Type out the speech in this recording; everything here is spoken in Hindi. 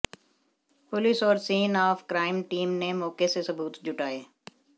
पुलिस और सीन ऑफ क्राइम टीम ने मौके से सबूत जुटाए